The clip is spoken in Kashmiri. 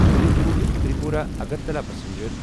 اُدیپور تریپورا اگرتلا پَسنجر